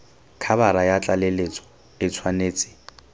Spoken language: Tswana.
khabara ya tlaleletso e tshwanetse